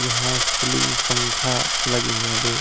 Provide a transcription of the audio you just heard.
यहां सिलिंग पंखा लगे हुए दो।